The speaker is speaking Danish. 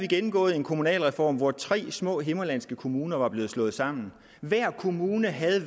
gennemgået en kommunalreform hvor tre små himmerlandske kommuner blev slået sammen hver kommune havde